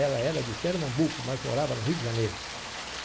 Ela era de Pernambuco, mas morava no Rio de Janeiro.